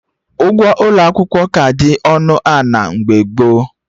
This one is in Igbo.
Ụgwọ ụlọ akwụkwọ ka dị ọnụ ana mgbe gboo